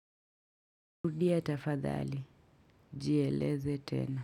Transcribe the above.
Rudia tafadhali, jieleze tena.